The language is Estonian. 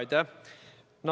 Aitäh!